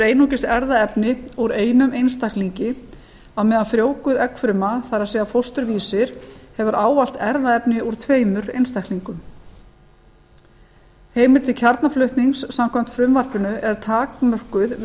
einungis erfðaefni úr einum einstaklingi á meðan frjóvguð eggfruma það er fósturvísir hefur ávallt erfðaefni úr tveimur einstaklingum heimild til kjarnaflutnings samkvæmt frumvarpinu er takmörkuð við